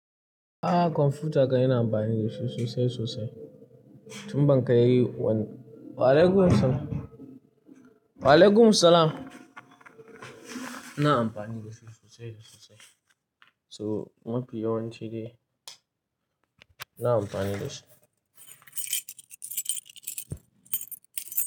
Ah, kwamfuta ka ina amfani da shi sosai sosai tun ban ka yi wani. Wa'alaikum assalam, wa'alaikum assalam. Ina amfani da shi sosai da sosai. So, mafi yawanci ne ina amfani da shi.